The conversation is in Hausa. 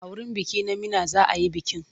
A wurin biki na Meena za a yi bikin.